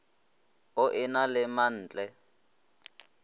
o e na le mantle